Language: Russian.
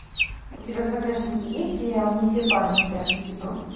у тебя в загашнике есть сериал не те парни пятый сезон